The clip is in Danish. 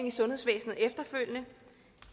i sundhedsvæsenet efterfølgende